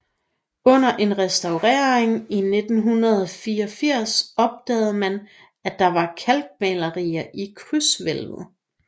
Under en restaurering i 1984 opdagede man at der var kalkmalerier i krydshvævlet